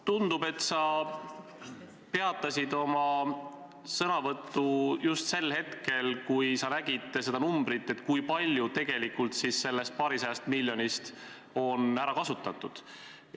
Tundub, et sa peatasid oma sõnavõtu just sel hetkel, kui sa nägid seda numbrit, kui palju tegelikult sellest paarisajast miljonist on ära kasutatud.